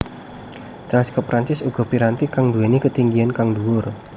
Teleskop Perancis uga piranti kang nduwèni ketinggian kang dhuwur